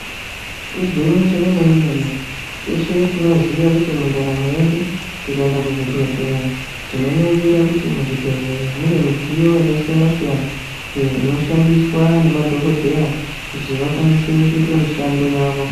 Igwinyiso remene-mene, teshe tinoziya kuti mundaramo yedu, tikaenda kuzvibhedhleya tinoningira kuti muzvibhedhleya mune midziyo yakasiyana-siyana yakasiyana-siyana iyo inoshandiswa nemadhokodheya kuti akwanise kuita mushando yavo.